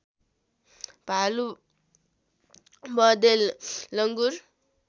भालु बँदेल लङ्गुर